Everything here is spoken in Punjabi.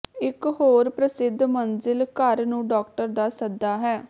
ਇਕ ਹੋਰ ਪ੍ਰਸਿੱਧ ਮੰਜ਼ਿਲ ਘਰ ਨੂੰ ਡਾਕਟਰ ਦਾ ਸੱਦਾ ਹੈ